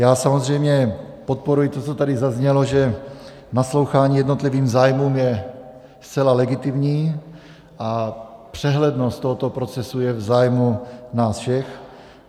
Já samozřejmě podporuji to, co tady zaznělo, že naslouchání jednotlivým zájmům je zcela legitimní a přehlednost tohoto procesu je v zájmu nás všech.